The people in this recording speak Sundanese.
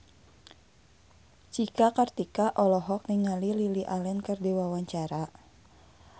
Cika Kartika olohok ningali Lily Allen keur diwawancara